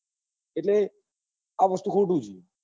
એટલે આ વસ્તુ આ ખોટું છે